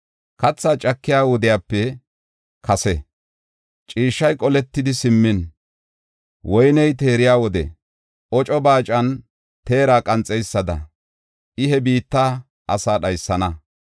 Kathaa cakiya wodiyape kase, ciishshay qoletidi simmin, woyne teeriya wode oco baacan xeera qanxeysada I he biitta asaa dhaysana.